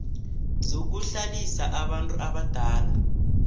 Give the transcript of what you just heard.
zokuhlalisa abantu abadala